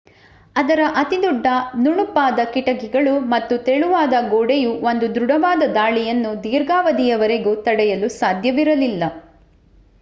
ಅದರ ಅತಿದೊಡ್ಡ ನುಣುಪಾದ ಕಿಟಕಿಗಳು ಮತ್ತು ತೆಳುವಾದ ಗೋಡೆಯು ಒಂದು ದೃಡವಾದ ದಾಳಿಯನ್ನು ದೀರ್ಘಾವಧಿಯವರೆಗೂ ತಡೆಯಲು ಸಾಧ್ಯವಿರಲಿಲ್ಲ